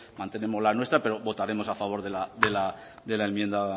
mantenemos la nuestra pero votaremos a favor de la enmienda